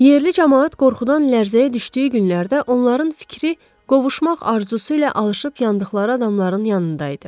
Yerli camaat qorxudan lərzəyə düşdüyü günlərdə onların fikri qovuşmaq arzusu ilə alışıb yandıqları adamların yanında idi.